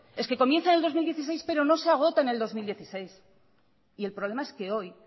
es que comienza en dos mil dieciséis pero no se agota en el dos mil dieciséis y el problema es que hoy